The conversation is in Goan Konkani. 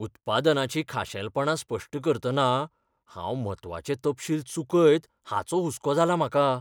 उत्पादनाचीं खाशेलपणां स्पश्ट करतना हांव म्हत्वाचे तपशील चुकयत हाचो हुसको जाला म्हाका.